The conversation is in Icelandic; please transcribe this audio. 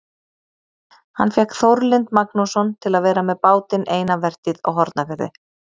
Hann fékk Þórlind Magnússon til að vera með bátinn eina vertíð á Hornafirði.